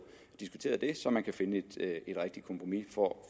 diskuteret det så man kan finde et rigtigt kompromis for